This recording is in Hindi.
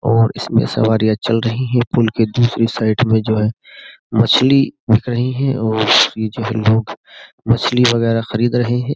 और इसमें सवारियां चल रही हैं पुल के दूसरी साइड में जो है मछली बिक रही है और ये जो है लोग मछली वगैरह खरीद रहे हैं।